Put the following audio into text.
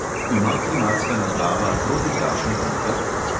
Ima klimatska naprava protiprašni filter?